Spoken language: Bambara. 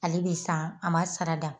Ale bi san an ma sarada